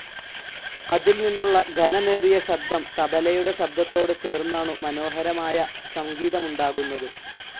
അതിൽനിന്നുള്ള ഘനമേറിയ ശബ്ദം തബലയുടെ ശബ്ദത്തോട് ചേർന്നാണു മനോഹരമായ സംഗീതമുണ്ടാകുന്നത്.